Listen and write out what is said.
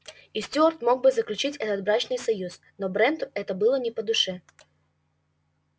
и стюарт мог бы заключить этот брачный союз но бренту это было не по душе